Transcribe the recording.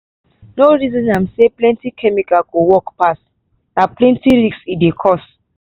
no reason am say plenty chemical go work pass. na plenty risk e dey cause.